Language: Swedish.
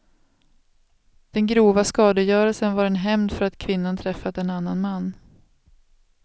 Den grova skadegörelsen var en hämnd för att kvinnan träffat en annan man.